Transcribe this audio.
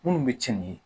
Minnu bɛ cɛn ni ye